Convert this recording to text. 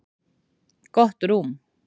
Gott rúm